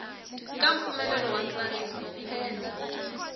ka mpfumelelo wa ntsariso phendla